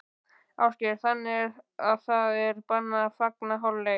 Ásgeir: Þannig að það er bannað að fagna í hálfleik?